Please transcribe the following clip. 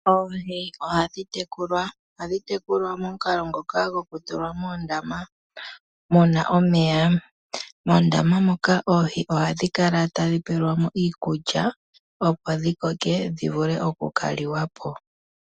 Oohi ohadhi tekulwa. Ohadhi tekulwa momukalo ngoka gokutulwa moondama mu na omeya. Moondama moka oohi ohadhi kala tadhi pelwa mo iikulya, opo dhi koke dhi vule oku ka liwa po.